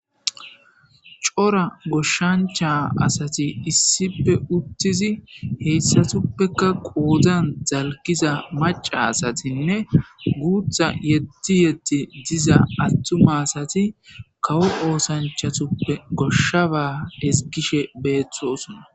Cora goshshancha asati issipe uttizi heyssatuppeka qoodzan zalkiza maca asatinne guutha yedti yetti diza attuma asati kawo oosanchatuppe goshshaba esgishe beeththosona.